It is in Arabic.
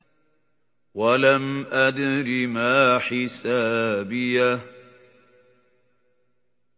وَلَمْ أَدْرِ مَا حِسَابِيَهْ